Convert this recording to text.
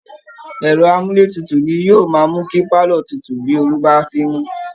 Ẹ̀rọ amúlétutù ni yóò máa mú kí pálọ̀ tutù bí ooru bá ti ń mú